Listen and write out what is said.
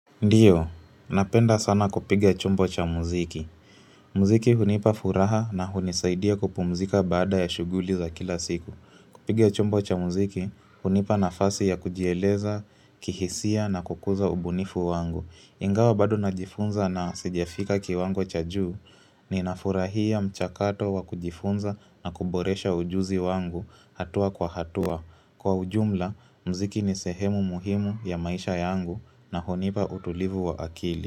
Ndiyo, napenda sana kupiga chombo cha muziki. Muziki hunipa furaha na hunisaidia kupumzika baada ya shuguli za kila siku. Kupiga chombo cha muziki, unipa nafasi ya kujieleza, kihisia na kukuza ubunifu wangu. Ingawa bado najifunza na sijafika kiwango cha juu, ninafurahia mchakato wa kujifunza na kuboresha ujuzi wangu hatua kwa hatua. Kwa ujumla, mziki ni sehemu muhimu ya maisha yangu na hunipa utulivu wa akili.